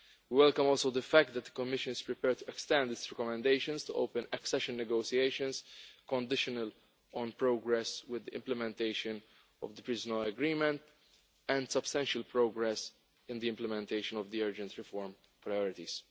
We also welcome the fact that the Commission is prepared to extend these recommendations to open accession negotiations, conditional on progress with the implementation of the Pržino Agreement, and substantial progress in the implementation of the urgent reform priorities.